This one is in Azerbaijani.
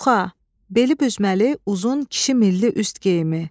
Çuxa, beli büzməli, uzun, kişi milli üst geyimi.